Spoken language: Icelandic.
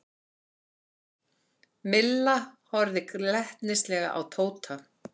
Milla horfði glettnislega á Tóta.